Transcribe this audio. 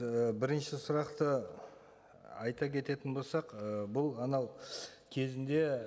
і бірінші сұрақты айта кететін болсақ ы бұл анау кезінде